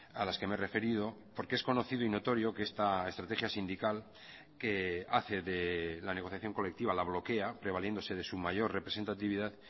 a las que me he referido porque es conocido y notorio que esta estrategia sindical que hace de la negociación colectiva la bloquea prevaliéndose de su mayor representatividad